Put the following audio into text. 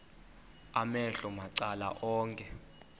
amehlo macala onke